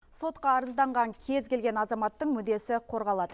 сотқа арызданған кез келген азаматтың мүддесі қорғалады